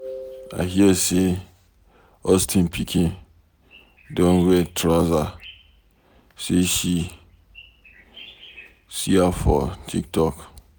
I hear say Austin pikin don dey wear trouser, say she, see a for TikTok.